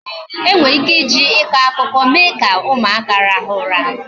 E nwere ike iji ịkọ akụkọ mee ka ụmụaka rahụ ụra